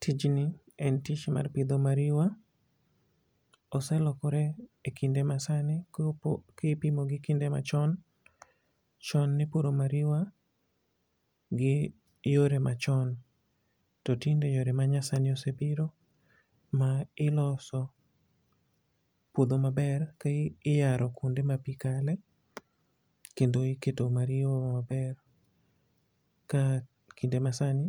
Tijni en tich mar pidho mariwa. Oselokore e kinde masani kipimo gi kinde machon. Chon ne ipuro mariwa gi yore machon. To tinde yore ma nyasano osebiro ma iloso puodho maber, ka iyaro kuonde ma pi kale, kendo iketo mariwa maber, ka kinde ma sani